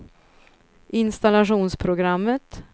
installationsprogrammet